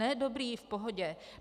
Ne, dobrý, v pohodě.